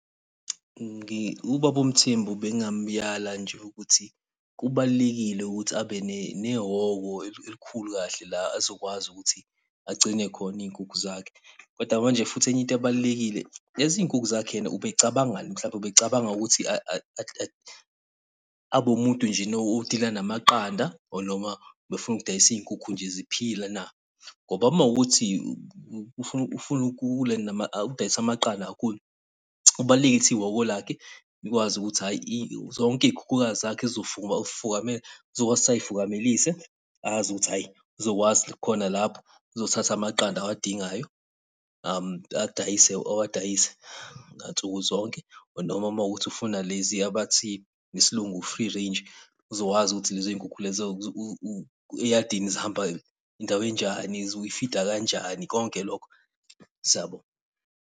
Ubaba uMthembu bengingamuyala nje ukuthi kubalulekile ukuthi abe nehhoko elikhulu kahle la azokwazi ukuthi agcine khona iy'nkukhu zakhe. Kodwa manje futhi enye into ebalulekile, lezi nkukhu zakhe yena ubecabangani hlampe, ubecabanga ukuthi , abe wumuntu njena o-deal-a namaqanda or noma, befuna ukudayisa izinkukhu nje ziphila na? Ngoba uma kuwukuthi ufuna ukudayisa amaqanda kakhulu, kubalulekile ukuthi iwoko lakhe, likwazi ukuthi hhayi zonke iy'khukhukazi zakhe uzokwazi ukuthi ay'fukamelise, azi ukuthi hhayi uzokwazi khona lapho uzothatha amaqanda awadingayo adayise awadayise ansuku zonke. Noma uma kuwukuthi ufuna leziya abathi ngesilungu, free range, uzokwazi ukuthi lezo zinkukhu lezo eyadini zihamba indawo enjani, uyfida kanjani konke lokho. Siyabonga.